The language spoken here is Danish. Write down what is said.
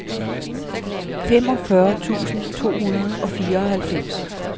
femogfyrre tusind to hundrede og fireoghalvfems